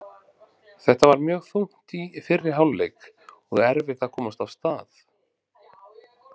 Þetta var mjög þungt í fyrri hálfleik og erfitt að komast af stað.